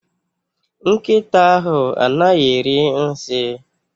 Nkịta ahụ anaghị eri nsi